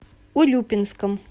урюпинском